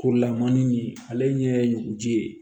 Kurulamani ɲe ale ɲɛ ye ɲuguji ye